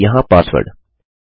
फिर से यहाँ पासवर्ड